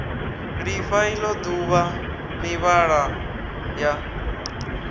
lifha ilo duvha mivhala ya